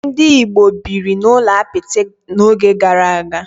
Ndị Igbo biri n'ụlọ apịtị n'oge gara aga.